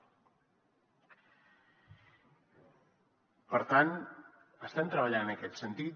per tant estem treballant en aquest sentit